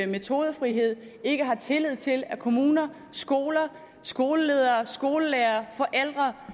metodefrihed ikke har tillid til at kommuner skoler skoleledere skolelærere